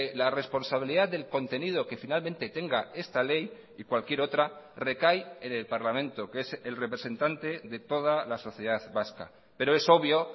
la responsabilidad del contenido que finalmente tenga esta ley y cualquier otra recae en el parlamento que es el representante de toda la sociedad vasca pero es obvio